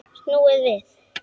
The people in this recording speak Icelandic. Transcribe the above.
Snúið við!